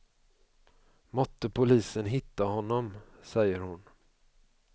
Måtte polisen hitta honom, säger hon.